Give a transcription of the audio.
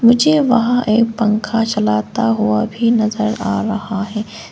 मुझे वहां एक पंखा चलाता हुआ भी नजर आ रहा है।